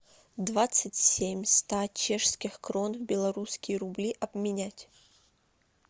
двадцать семь ста чешских крон в белорусские рубли обменять